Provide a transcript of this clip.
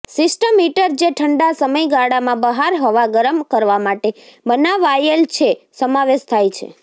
system heater જે ઠંડા સમયગાળામાં બહાર હવા ગરમ કરવા માટે બનાવાયેલ છે સમાવેશ થાય છે